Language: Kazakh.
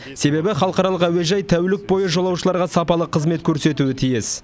себебі халықаралық әуежай тәулік бойы жолаушыларға сапалы қызмет көрсетуі тиіс